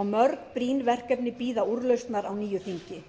og mörg brýn verkefni bíða úrlausnar á nýju þingi